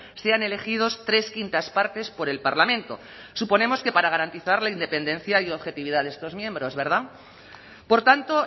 sean elegidos tres quintas partes por el parlamento suponemos que para garantizar la independencia y objetividad de estos miembros verdad por tanto